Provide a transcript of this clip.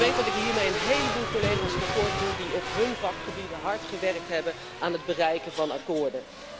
Ik weet dat ik hiermee een heleboel collega's tekort doe die op hun vakgebied hard gewerkt hebben aan het bereiken van akkoorden.